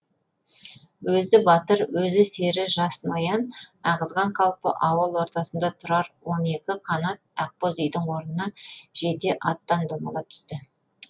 өзі батыр өз сері жас ноян ағызған қалпы ауыл ортасында тұрар он екі қанат ақбоз үйдің орнына жете аттан домалап түсті